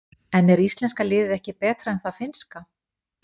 En er íslenska liðið ekki betra en það finnska?